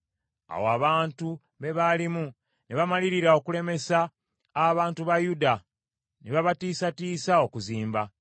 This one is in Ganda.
Awo abantu be baalimu ne bamalirira okulemesa abantu ba Yuda, ne babatiisatiisa okuzimba.